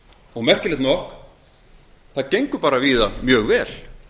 og merkilegt nokk það gengur víða mjög vel